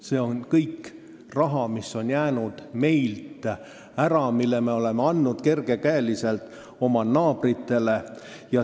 See on kõik raha, mis on meil jäänud saamata, mille me oleme andnud kerge käega oma naabritele.